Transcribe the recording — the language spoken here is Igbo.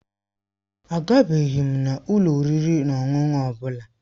Agabeghị m ụlọ oriri na ọṅụṅụ ọ bụla.